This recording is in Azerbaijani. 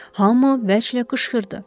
Hamı vəclə qışqırdı.